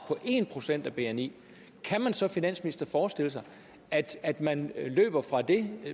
på en procent af bni kan man så finansminister forestille sig at man løber fra det